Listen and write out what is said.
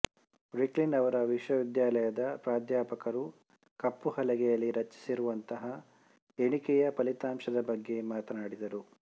Brooklyn ಅವರ ವಿಶ್ವವಿದ್ಯಾಲಯದ ಪ್ರಾಧ್ಯಾಪಕರು ಕಪ್ಪು ಹಲಗೆಯಲ್ಲಿ ರಚಿಸಿರುವಂತಹ ಎಣಿಕೆಯ ಫಲಿತಾಂಶದ ಬಗ್ಗೆ ಮಾತನಾಡಿದರು